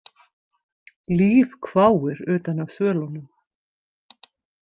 Líf hváir utan af svölunum.